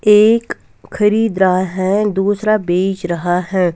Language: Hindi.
एक खरीद रहा है दूसरा बेच रहा है.